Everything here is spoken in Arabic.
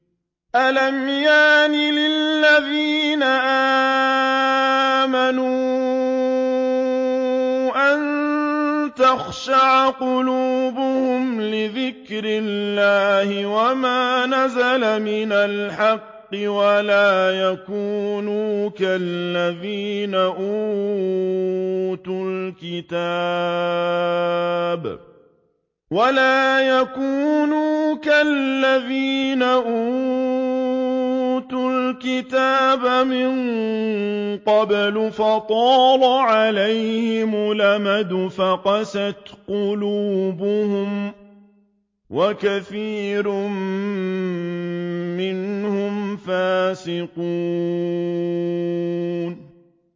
۞ أَلَمْ يَأْنِ لِلَّذِينَ آمَنُوا أَن تَخْشَعَ قُلُوبُهُمْ لِذِكْرِ اللَّهِ وَمَا نَزَلَ مِنَ الْحَقِّ وَلَا يَكُونُوا كَالَّذِينَ أُوتُوا الْكِتَابَ مِن قَبْلُ فَطَالَ عَلَيْهِمُ الْأَمَدُ فَقَسَتْ قُلُوبُهُمْ ۖ وَكَثِيرٌ مِّنْهُمْ فَاسِقُونَ